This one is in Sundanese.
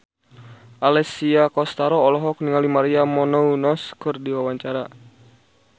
Alessia Cestaro olohok ningali Maria Menounos keur diwawancara